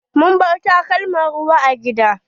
Mun bar takalman ruwa a gida.